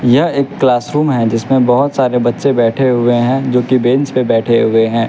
यह एक क्लासरूम है जिसमें बहुत सारे बच्चे बैठे हुए हैं जो कि बेंच पर बैठे हुए हैं --